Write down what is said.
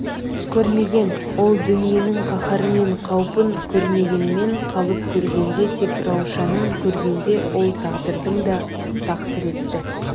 көрмеген ол дүниенің қаһары мен қаупін көргенменен қалып көргенде тек раушанын көргенде ол тағдырдың да тақсіретті